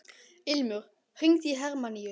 Ilmur, hringdu í Hermanníus.